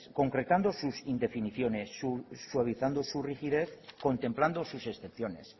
concretando sus indefiniciones suavizando su rigidez contemplando sus excepciones